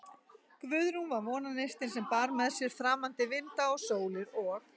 Guðrún var vonarneistinn, sem bar með sér framandi vinda og sólir, og